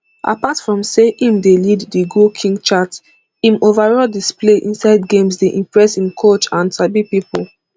apart from say im dey lead di goal king chart im overall display inside games dey impress im coach and sabi pipo